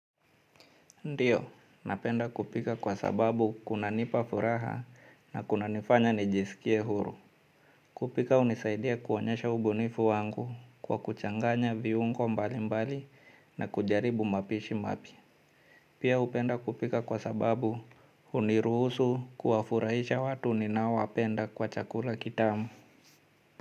Ndiyo, napenda kupika kwa sababu kunanipa furaha na kunanifanya nijisikie huru. Kupika hunisaidia kuonyesha ubunifu wangu kwa kuchanganya viungo mbali mbali na kujaribu mapishi mapya. Pia hupenda kupika kwa sababu huniruhusu kuwafurahisha watu ninaowapenda kwa chakula kitamu.